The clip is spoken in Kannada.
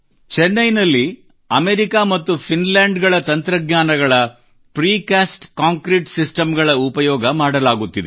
ಚೆನ್ನೈನಲ್ಲಿ ಅಮೆರಿಕಾ ಮತ್ತು ಫಿನ್ಲ್ಯಾಂಡ್ ಗಳ ತಂತ್ರಜ್ಞಾನಗಳು ಪ್ರಿಕಾಸ್ಟ್ ಕಾಂಕ್ರೀಟ್ ಸಿಸ್ಟಮ್ ಗಳ ಉಪಯೋಗ ಮಾಡಲಾಗುತ್ತಿದೆ